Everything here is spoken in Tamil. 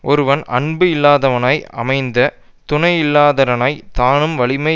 ஒருவன் அன்பு இல்லாதவனாய் அமைந்த துணை இல்லாதடனாய் தானும் வலிமை